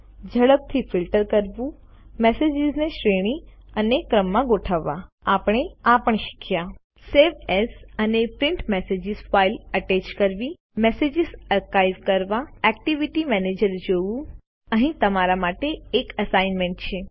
ઝડપથી ફિલ્ટર કરવું મેસેજીસને શ્રેણી અને ક્રમમાં ગોઠવવા આપણે આ પણ શીખ્યા સવે એએસ અને પ્રિન્ટ મેસેજીસ ફાઈલ અટેચ કરવી મેસેજીસ આર્કાઇવ કરવા એક્ટિવિટી મેનેજર જોવું અહીં તમારા માટે એક એસાઈનમેન્ટ છે